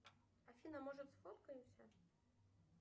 афина может сфоткаемся